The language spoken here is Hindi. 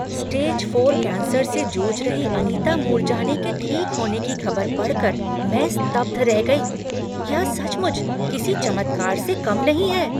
स्टेज फोर कैंसर से जूझ रही अनीता मूरजानी के ठीक होने की खबर पढ़कर मैं स्तब्ध रह गई। यह सचमुच किसी चमत्कार से कम नहीं है।